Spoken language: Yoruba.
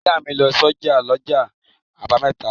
Ìyá mi lọ sọ́jà lọ́jọ́ àbámẹ́ta.